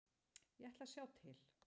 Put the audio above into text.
Ég ætla að sjá til.